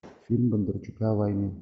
фильм бондарчука о войне